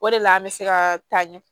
O de la an bɛ se ka taa ɲɛ